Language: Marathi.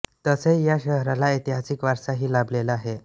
तसेच या शहराला ऐतिहासिक वारसा ही लाभलेला आहे